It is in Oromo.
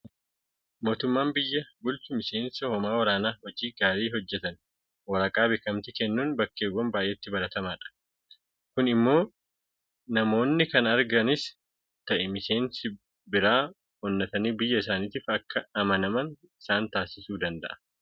Mootummaan biyya bulchu miseensa hoomaa waraanaa hojii gaarii hojjeteen waraqaa beekamtii kennuun bakkeewwan baay'eetti baramaadha. Kun immoo namoonni kana argatanis ta'ee miseensi biraa oonnatanii biyya isaaniitiif akka amanaman isaan taasisuu danda'a.